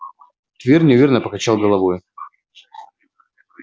твер неуверенно покачал головой